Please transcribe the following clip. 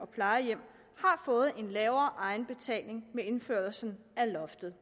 plejehjem har fået en lavere egenbetaling med indførelsen af loftet